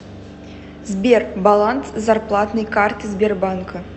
сбер баланс зарплатной карты сбербанка